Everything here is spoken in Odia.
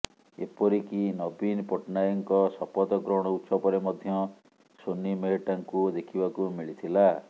ଏପରିକି ନବୀନ ପଟ୍ଟନାୟକଙ୍କ ଶପଥ ଗ୍ରହଣ ଉତ୍ସବରେ ମଧ୍ୟ ସୋନି ମେହେଟ୍ଟାଙ୍କୁ ଦେଖିବାକୁ ମିଳିଥିଲା